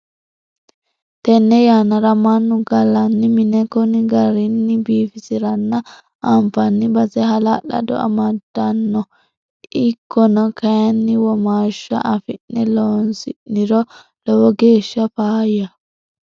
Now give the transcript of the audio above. Tene yannara mannu gallani mine koni garini biifisiranna anfanni base hala'lado amadano ikkona kayinni womaashsha afi'ne loosi'niro lowo geeshsha faayyaho.